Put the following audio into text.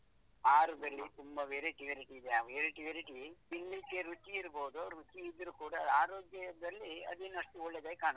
ಆಹಾರದಲ್ಲ ತುಂಬಾ variety variety ಇದೆ ಆ variety variety ತಿನ್ಲಿಕ್ಕೆ ರುಚಿ ಇರ್ಬೋದು ರುಚಿ ಇದ್ರೂ ಕೂಡ ಆರೋಗ್ಯದಲ್ಲಿ ಅದೇನು ಅಷ್ಟು ಒಳ್ಳೇದಾಗಿ ಕಾಣುದಿಲ್ಲ